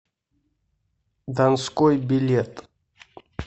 донской билет